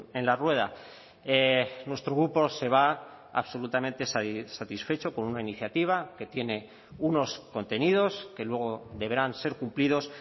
en la rueda nuestro grupo se va absolutamente satisfecho con una iniciativa que tiene unos contenidos que luego deberán ser cumplidos